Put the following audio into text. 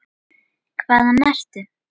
Hvaðan ertu?